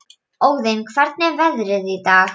Óðinn, hvernig er veðrið í dag?